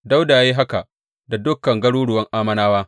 Dawuda ya yi haka da dukan garuruwan Ammonawa.